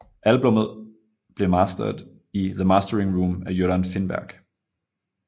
Albummet blev mastered i The Mastering Room af Göran Finnberg